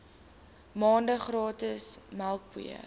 maande gratis melkpoeier